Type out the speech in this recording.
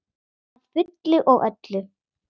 Að fullu og öllu.